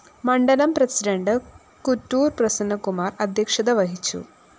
മണ്ഡലം പ്രസിഡന്റ് കുറ്റൂര്‍ പ്രസന്നകുമാര്‍ അദ്ധ്യക്ഷത വഹിച്ചു